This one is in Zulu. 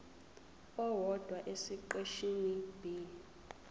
owodwa esiqeshini b